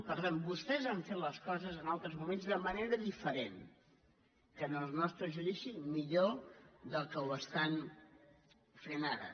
per tant vostès han fet les coses en altres moments de manera diferent en el nostre judici millor del que ho estan fent ara